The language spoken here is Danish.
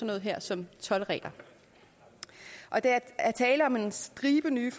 noget her som toldregler der er tale om en stribe nye